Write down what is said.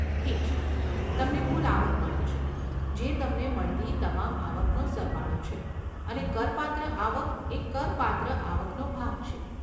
ઠીક છે, તમને કુલ આવક મળે છે, જે તમને મળતી તમામ આવકનો સરવાળો છે, અને કરપાત્ર આવક એ કરપાત્ર આવકનો ભાગ છે.